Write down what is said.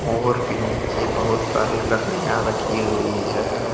मोर के नीचे बहुत सारी लकड़ियां रखी हुई है।